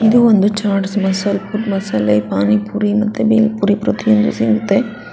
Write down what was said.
ಇದು ಒಂದು ಚಾಟ್ಸ್ ಮಸಾಲೆ ಪಾನಿಪುರಿ ಮತ್ತೆ ಬೇಲ್ ಪುರಿ ಪ್ರತಿಯೊಂದು ಸಿಗುತ್ತೆ.